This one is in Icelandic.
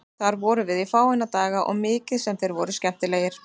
Þar vorum við í fáeina daga og mikið sem þeir voru skemmtilegir.